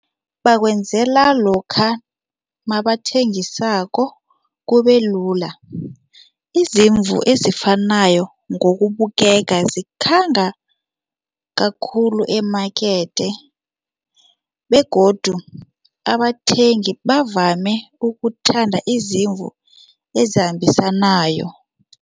Bakwenzela lokha mabathengisako kubelula. Izimvu ezifanayo ngokubukeka zikhanga kakhulu emakethe begodu abathengi bavame ukuthanda izimvu ezambisanayo.